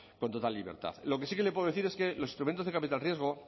libertad lo que sí que le puedo decir es que los instrumentos de capital riesgo